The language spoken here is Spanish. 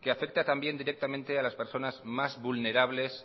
que afecta también directamente a las personas más vulnerables